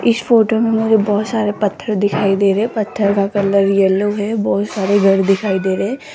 इस फोटो मे मुझे बहोत सारे पत्थर दिखाई दे रहे है पत्थर का कलर येलो है बहोत सारे घर दिखाई दे रहे --